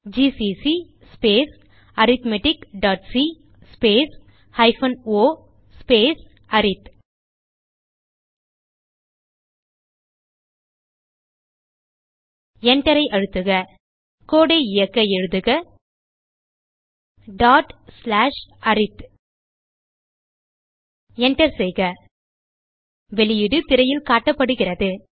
GCC space arithmeticசி space o space arith Enter ஐ அழுத்துக codeஐ இயக்க எழுதுக arith Enter செய்க வெளியீடு திரையில் காட்டப்படுகிறது